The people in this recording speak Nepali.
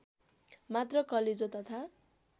मात्र कलेजो तथा